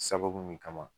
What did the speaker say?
Sababu min kama